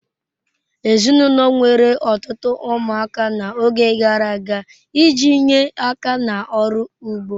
Ezinụlọ nwere ọtụtụ ụmụaka n'oge gara aga iji nye aka n'ọrụ ugbo.